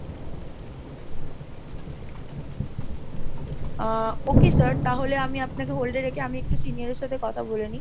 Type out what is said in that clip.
আহ okay sir তাহলে আমি আপনাকে hold এ রেখে আমি একটু senior এর সাথে কথা বলে নিই।